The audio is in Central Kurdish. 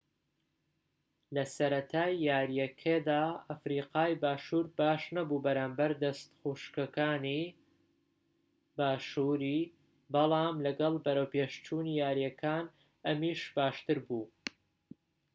لەسەرەتای یاریەکەدا ئەفریقای باشوور باشنەبوو بەرامبەر دەستەخوشکەکانی باشووری بەڵام لەگەڵ بەرەوپێشچوونی یاریەکان ئەمیش باشتر بوو